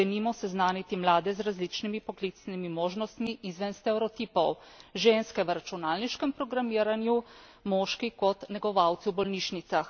Kot, denimo, seznaniti mlade z različnimi poklicnimi možnostmi izven stereotipov ženske v računalniškem programiranju, moški kot negovalci v bolnišnicah.